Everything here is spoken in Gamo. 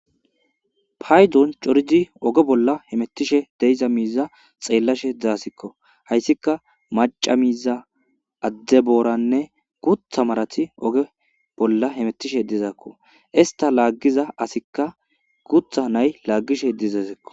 paydon corizi oge bolla hemettishe deiza miiza xeellashe dzaasikko hayssika maca miiza adde booranne gutha marati oge bolla hemettishe dizakko ista laaggiza asikka gutha nay laaggishe dizazekko